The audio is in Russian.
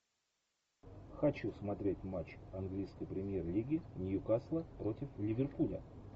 хочу смотреть матч английской премьер лиги ньюкасла против ливерпуля